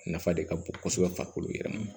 Nafa de ka bon kosɛbɛ farikolo yɛrɛ ma